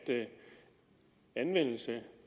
anvendelse